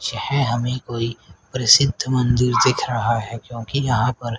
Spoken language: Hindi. यह हमें कोई प्रसिद्ध मंदिर दिख रहा है क्योंकि यहां पर--